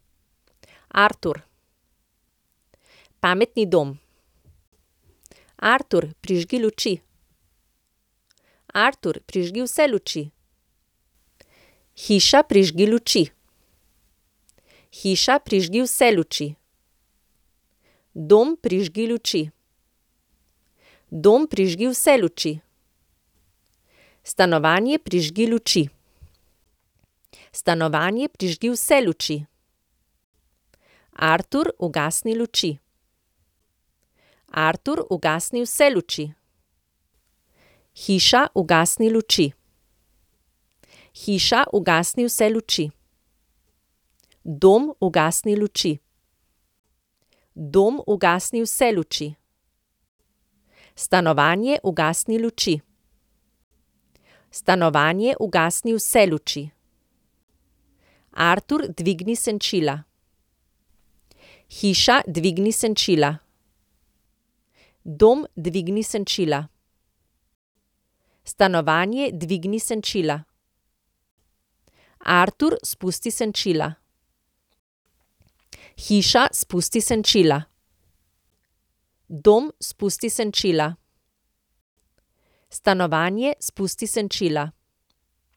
Artur. Pametni dom. Artur, prižgi luči. Artur, prižgi vse luči. Hiša, prižgi luči. Hiša, prižgi vse luči. Dom, prižgi luči. Dom, prižgi vse luči. Stanovanje, prižgi luči. Stanovanje, prižgi vse luči. Artur, ugasni luči. Artur, ugasni vse luči. Hiša, ugasni luči. Hiša, ugasni vse luči. Dom, ugasni luči. Dom, ugasni vse luči. Stanovanje, ugasni luči. Stanovanje, ugasni vse luči. Artur, dvigni senčila. Hiša, dvigni senčila. Dom, dvigni senčila. Stanovanje, dvigni senčila. Artur, spusti senčila. Hiša, spusti senčila. Dom, spusti senčila. Stanovanje, spusti senčila.